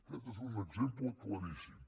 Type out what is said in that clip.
aquest és un exemple claríssim